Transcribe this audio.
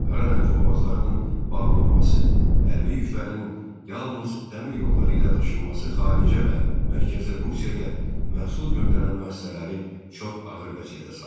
Qaradəniz boğazlarının bağlanması, hərbi yüklərin yalnız dəmir yolları ilə daşınması xaricə və Mərkəzi Rusiyaya məhsul göndərən müəssisələri çox ağır vəziyyətə saldı.